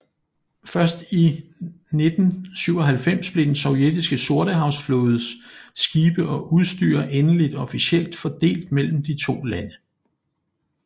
Først i 1997 blev den sovjetiske sortehavsflådes skibe og udstyr endeligt officielt fordelt mellem de to lande